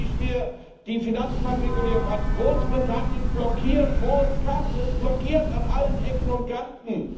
Wenn ich mir die Finanzmarktregulierung ansehe Großbritannien blockiert, wo es kann, es blockiert an allen Ecken und Kanten!